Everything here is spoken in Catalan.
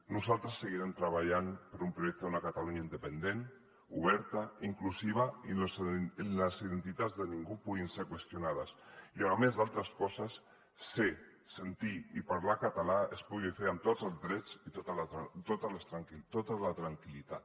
nosaltres seguirem treballant per un projecte d’una catalunya independent oberta inclusiva i on les identitats de ningú puguin ser qüestionades i on a més d’altres coses ser sentir i parlar català es pugui fer amb tots els drets i tota la tranquil·litat